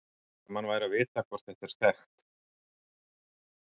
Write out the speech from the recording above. Gaman væri að vita hvort þetta er þekkt.